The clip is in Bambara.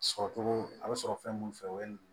Sɔrɔcogo a bɛ sɔrɔ fɛn mun fɛ o ye